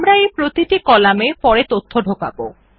আমরা এই প্রতিটি কলামে পরে তথ্য ঢোকাব